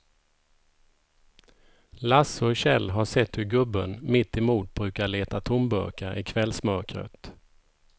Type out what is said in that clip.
Lasse och Kjell har sett hur gubben mittemot brukar leta tomburkar i kvällsmörkret.